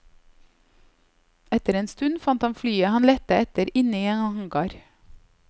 Etter en stund fant han flyet han lette etter inne i en hangar.